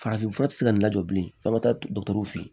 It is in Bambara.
Farafinfura tɛ se ka lajɔ bilen f'an bɛ taa fe yen